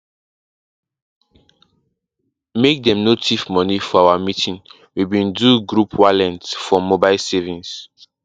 make dem no thief moni for meeting we bin do group wallent for mobile savings